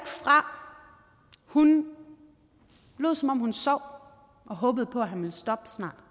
fra hun lod som om hun sov og håbede på at han ville stoppe snart